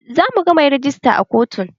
Zamu ga mai rejista a kotun